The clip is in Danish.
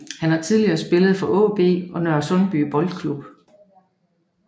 Han har tidligere spillet for AaB og Nørresundby Boldklub